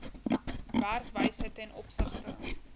werkwyse ten opsigte